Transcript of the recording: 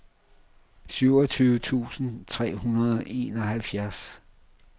syvogtyve tusind tre hundrede og enoghalvfjerds